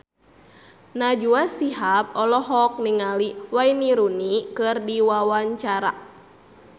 Najwa Shihab olohok ningali Wayne Rooney keur diwawancara